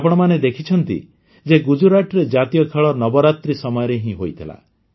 ଆପଣମାନେ ଦେଖିଛନ୍ତି ଯେ ଗୁଜୁରାଟରେ ଜାତୀୟ ଖେଳ ନବରାତ୍ରି ସମୟରେ ହିଁ ହୋଇଥିଲା